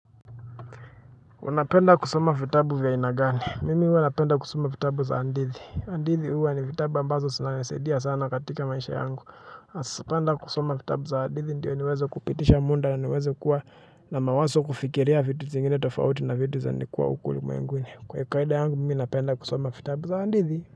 Unapenda kusoma vitabu vya haina gani? Mimi huwa napenda kusoma vitabu za hadithi, hadithi huwa ni viatbu ambazo zinasaidia sana katika maisha yangu napenda kusoma vitabu za adithi ndiyo niweze kupitisha muda niweze kuwa na mawazo kufikiria vitu zingine tofauti na vitu za nilikua huku ulimwenguni kwa kawaida yangu mimi napenda kusoma fitabu za adithi.